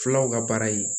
Fulaw ka baara ye